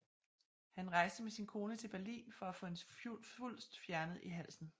Han rejste med sin kone til Berlin for at få en svulst fjernet i halsen